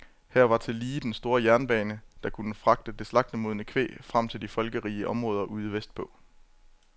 Her var tillige den store jernbane, der kunne fragte det slagtemodne kvæg frem til de folkerige områder ude vestpå.